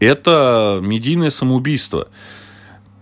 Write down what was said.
это медийное самоубийство